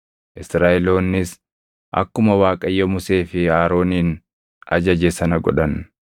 Israaʼeloonnis akkuma Waaqayyo Musee fi Aroonin ajaje sana godhan.